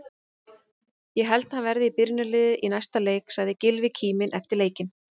Ég held að hann verði í byrjunarliðinu í næsta leik, sagði Gylfi kíminn eftir leikinn.